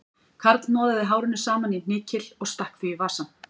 Karl hnoðaði hárinu saman í hnykil og stakk því í vasann